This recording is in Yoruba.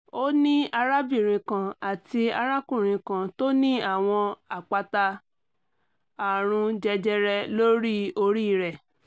ó ní arábìnrin kan àti arákùnrin kan tó ní àwọn àpáta àrùn jẹjẹrẹ lórí orí rẹ̀